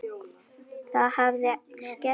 Það hafi skert öryggi.